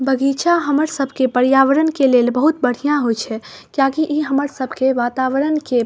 बगीचा हमर सब के पर्यावरण के लेल बहुत बढ़िया होय छै किया की इ हमर सब के वातावरण के --